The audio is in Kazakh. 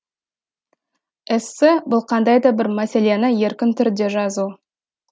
эссе бұл қандай да бір мәселені еркін түрде жазу